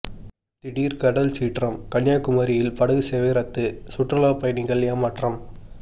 திடீர் கடல் சீற்றம் கன்னியாகுமரியில் படகு சேவை ரத்து சுற்றுலா பயணிகள் ஏமாற்றம்